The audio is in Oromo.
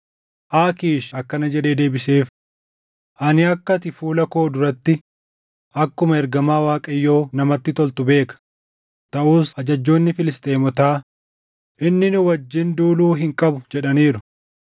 Aakiish akkana jedhee deebiseef; “Ani akka ati fuula koo duratti akkuma ergamaa Waaqayyoo namatti toltu beeka; taʼus ajajjoonni Filisxeemotaa, ‘Inni nu wajjin duuluu hin qabu’ jedhaniiru.